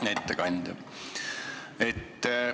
Hea ettekandja!